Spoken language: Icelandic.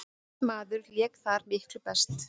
Einn maður lék þar miklu best.